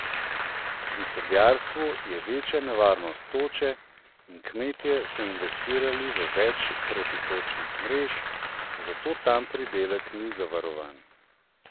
Pri sadjarstvu je večja nevarnost toče in kmetje so investirali v več protitočnih mrež, zato tam pridelek ni zavarovan.